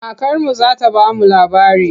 Kakarmu za ta ba mu labari.